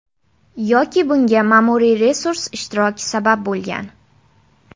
Yoki bunga ma’muriy resurs ishtiroki sabab bo‘lgan.